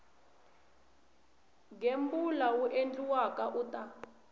gembula wu endliwaka u ta